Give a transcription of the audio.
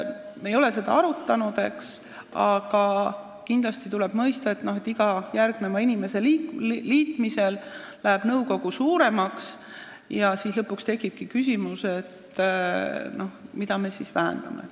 Me ei ole seda arutanud, aga kindlasti tuleb mõista, et iga inimese liitmisel läheb nõukogu suuremaks ja lõpuks tekib küsimus, et mida me siis üldse vähendame.